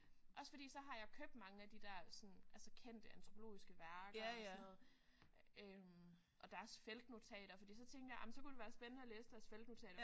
Også fordi så har jeg købt mange af de der sådan altså kendte antropologiske værker og sådan noget og deres feltnotater fordi tænkte jeg ej men så kunne det være spændende at læse deres feltnonteter